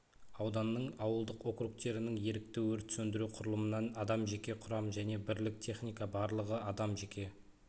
ауданның ауылдық округтерінің ерікті өрт сөндіру құрылымынан адам жеке құрам және бірлік техника барлығы адам жеке